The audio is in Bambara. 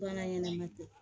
Bana ɲɛnɛma tɛ